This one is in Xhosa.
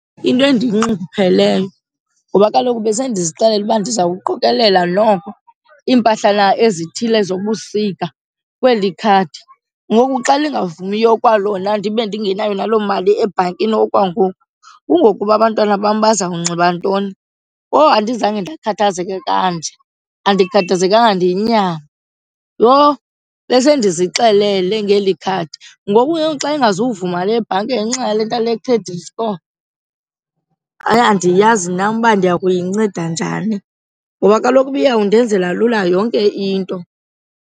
Into endiyinxungupheleyo ngoba kaloku besendizixelele uba ndizawuqokelela noko iimpahlana ezithile zobusika kweli khadi. Ngoku xa lingavumiyo kwalona ndibe ndingenayo naloo mali ebhankini okwangoku kungokuba abantwana bam baza kunxiba ntoni? Kowu andizange ndikhathazeke kanje. Andikhathazekanga ndiyinyama. Yho! Besendizixelele ngeli khadi, ngoku ke xa ingazuvuma le bhanki ngenxa yale nto yale credit score hayi andiyazi nam uba ndiya kuyinceda njani, ngoba kaloku ubiyawundenzela lula yonke into.